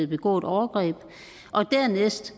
begå et overgreb dernæst